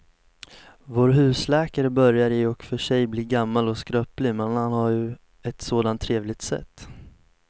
Vår husläkare börjar i och för sig bli gammal och skröplig, men han har ju ett sådant trevligt sätt!